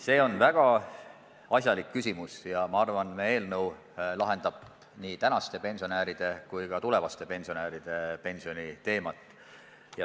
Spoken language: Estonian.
See on väga asjalik küsimus ja ma arvan, et meie eelnõu lahendab nii tänaste kui ka tulevaste pensionäride pensioniprobleemid.